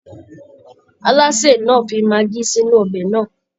Alásè náà ti fi maggi sínú ọbẹ̀ náà